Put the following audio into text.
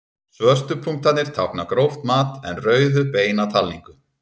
Svörtu punktarnir tákna gróft mat en rauðu beina talningu.